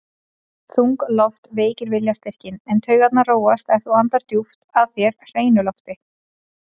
Þung loft veikir viljastyrkinn, en taugarnar róast ef þú andar djúpt að þér hreinu lofti.